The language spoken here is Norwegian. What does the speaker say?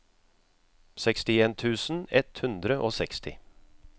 sekstien tusen ett hundre og seksti